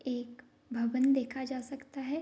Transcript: एक भवन देखा जा सकता है।